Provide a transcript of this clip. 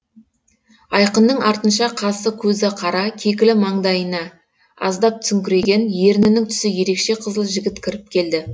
айқынның артынша қасы көзі қара кекілі маңдайына аздап түсіңкіреген ернінің түсі ерекше қызыл жігіт кіріп келді